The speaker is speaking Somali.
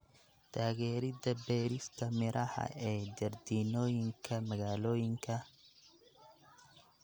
Taageerida beerista miraha ee jardiinooyinka magaalooyinka.